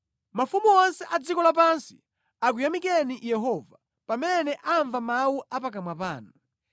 Mafumu onse a dziko lapansi akuyamikeni Yehova, pamene amva mawu a pakamwa panu.